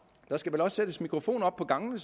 der skal også sættes mikrofoner op på gangene